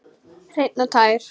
Hreinn og tær.